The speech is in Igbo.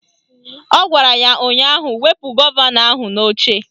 Ọ gwara ya ụnyaahụ "Wepu gọvanọ ahụ n'oche"